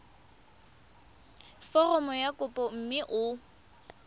foromo ya kopo mme o